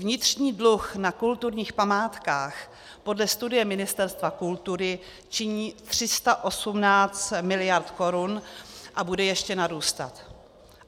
Vnitřní dluh na kulturních památkách podle studie Ministerstva kultury činí 318 mld. korun a bude ještě narůstat.